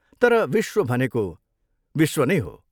तर विश्व भनेको विश्व नै हो।